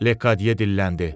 Lekadyə dilləndi.